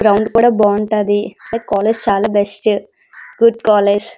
Ground కూడా బాగుంటాది college చాలా బెస్ట్ గుడ్ కాలేజీ .